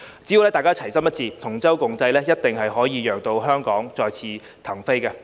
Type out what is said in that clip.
只要大家齊心一致，同舟共濟，一定可以讓香港再次騰飛。